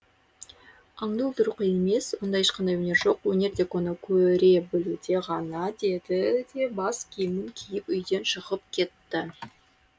аңды өлтіру қиын емес онда ешқандай өнер жоқ өнер тек оны көре білуде ғана деді де бас киімін киіп үйден шығып кетті